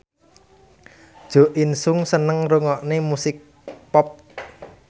Jo In Sung seneng ngrungokne musik pop